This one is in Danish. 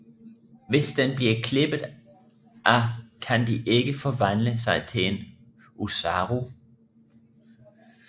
Hvis den bliver klippet af kan de ikke forvandle sig til en Oozaru